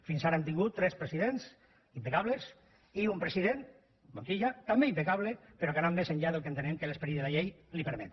fins ara hem tingut tres presidents impecables i un president montilla també impecable però que ha anat més enllà del que entenem que l’esperit de la llei li permet